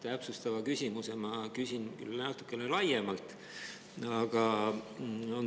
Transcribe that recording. Täpsustava küsimuse ma küsin natukene laiemalt.